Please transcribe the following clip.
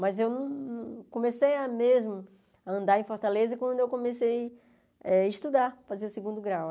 Mas eu comecei mesmo a andar em Fortaleza quando eu comecei a estudar, fazer o segundo grau.